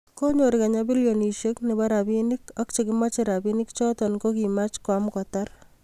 konyor kenya bilionoshiek nebo rabinik ak chekimache rabinik choto ko kimach koam kotar